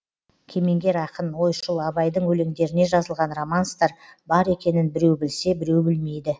кемеңгер ақын ойшыл абайдың өлеңдеріне жазылған романстар бар екенін біреу білсе біреу білмейді